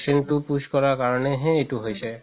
injection তো push কৰা কাৰণে হে এইটো হয়ছে